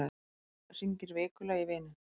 Hringir vikulega í vininn